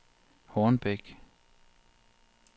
Hornbæk